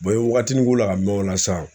waatinin ko la ka mɛɛn o la sa